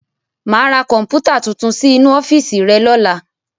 Máa ra Kọ̀npútà tuntun sí inú ọ́fíìsì rẹ lọ́la.